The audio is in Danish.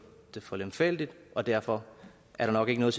det for lemfældigt og derfor er der nok ikke noget